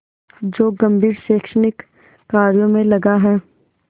जो गंभीर शैक्षणिक कार्यों में लगा है